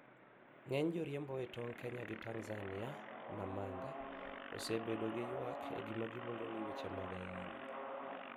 Ng'eny joriembo e tong Kenya gi Tanzania, Namanga, osebedo gi yuak e gima giluongo ni weche mad ayany.